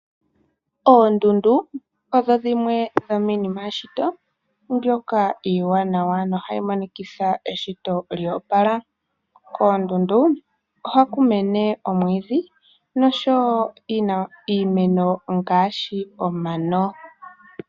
Oondundu odho dhimwe dhominima yeshito iiwanawa yo ohayi monikitha eshisho lyoopala. Koondundu ohaku mene oomwidhi nosho woo iimeno ngaashi omano.